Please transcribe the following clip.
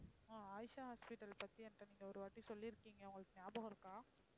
ஆஹ் Ayesha hospital பத்தி என்கிட்ட நீங்க ஒருவாட்டி சொல்லி இருக்கீங்க உங்களுக்கு ஞாபகம் இருக்கா?